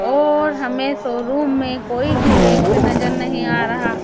और हमें शोरूम में कोई भी व्यक्ति नजर नहीं आ रहा--